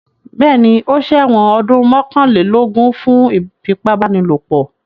Bẹ́ẹ̀ní, ó ṣẹ̀wọ̀n ọdún mọ́kànlélógún fún ìfipábánilòpọ̀.